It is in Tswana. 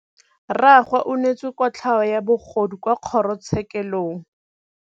Rragwe o neetswe kotlhaô ya bogodu kwa kgoro tshêkêlông.